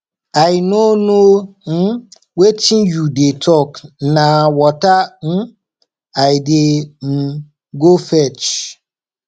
i no know um wetin you dey talk na water um i dey um go fetch